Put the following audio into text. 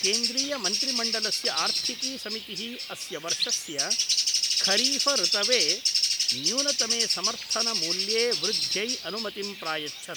केन्द्रीय मन्त्रिमण्डलस्य आर्थिकी समितिः अस्य वर्षस्य खरीफ ऋतवे न्यूनतमे समर्थन मूल्ये वृद्ध्यै अनुमतिं प्रायच्छत्।